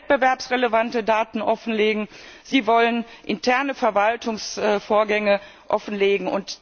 Sie wollen wettbewerbsrelevante Daten offenlegen, Sie wollen interne Verwaltungsvorgänge offenlegen.